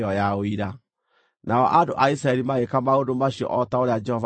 Nao andũ a Isiraeli magĩĩka maũndũ macio o ta ũrĩa Jehova aathĩte Musa.